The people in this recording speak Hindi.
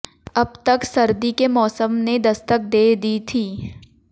अब तक सर्दी के मौसम ने दस्तक दे दी थी